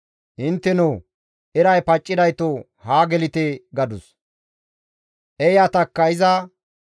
«Inttenoo! Eray paccidayto haa gelite!» gadus. Eeyatakka iza,